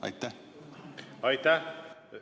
Aitäh!